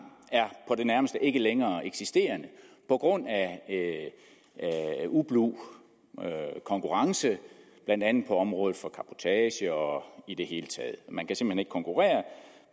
og på det nærmeste ikke længere er eksisterende på grund af ublu konkurrence blandt andet på området for cabotage og i det hele taget man kan simpelt hen ikke konkurrere